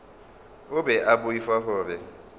o be a boifa gore